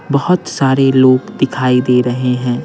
बहुत सारे लोग दिखाई दे रहे हैं।